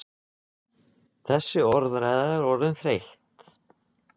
Þessi orðræða er orðin þreytt!